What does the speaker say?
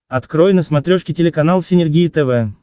открой на смотрешке телеканал синергия тв